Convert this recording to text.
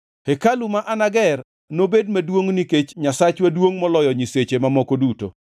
“Hekalu ma anager nobed maduongʼ nikech Nyasachwa duongʼ moloyo nyiseche mamoko duto.